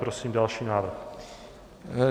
Prosím další návrh.